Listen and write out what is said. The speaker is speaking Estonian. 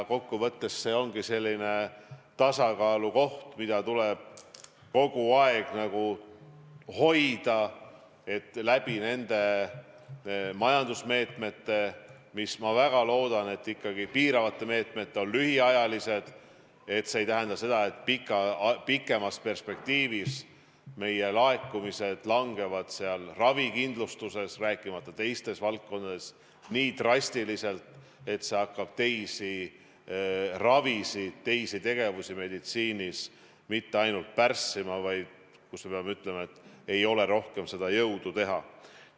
Kokkuvõttes ongi see selline tasakaalukoht, mida tuleb kogu aeg hoida, et need piiravad majandusmeetmed, mis, ma väga loodan, ikkagi on lühiajalised, ei tähenda seda, et pikemas perspektiivis laekumised vähenevad ravikindlustuses, rääkimata teistest valdkondadest, nii drastiliselt, et see hakkab teiste haiguste ravi, teisi tegevusi meditsiinis mitte ainult pärssima, vaid me peame ütlema, et ei ole rohkem jõudu seda teha.